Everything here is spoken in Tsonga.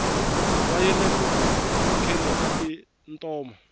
va yile ku kheni ka tintoma